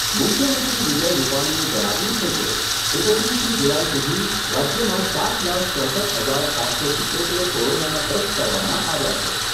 મુખ્યમંત્રી વિજય રૂપાણીએ જણાવ્યુંં છે કે, એકત્રીસમી જુલાઈ સુધી રાજ્યમાં સાત લાખ ચોસઠ હજાર સાતસો સિત્તોતેર કોરોનાના ટેસ્ટ કરવામાં આવ્યા છે.